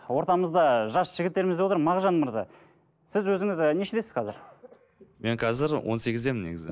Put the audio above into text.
ортамызда жас жігіттеріміз де отыр мағжан мырза сіз өзіңіз і нешедесіз қазір мен қазір он сегіздемін негізі